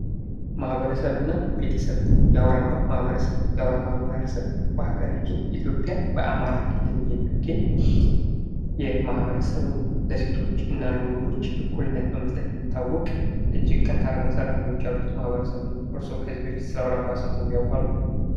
ማህበረሰብና ቤተሰብ ፦ የአውራምባ ማህበረሰብ ፦ የአውራምባ ማህበረሰብ በሀገራችን ኢትዮጵያ በአማራ ክልል የሚገኝ የማህበረሰብ ነው ። ለሴቶችና ለወንዶች እኩልነት በመስጠት የሚታወቅ ፣ እጅግ ጠንካራ ሰራተኞች ያሉት ማህበረሰብ ነው ። ከዚህ በፊት ስለአውራምባ ሰምተው ያውቃሉ ?